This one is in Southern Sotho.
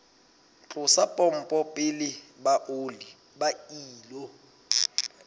tlosa pompo pele ba ilo